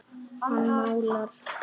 Hann málar.